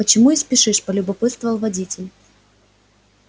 почему и спешишь полюбопытствовал водитель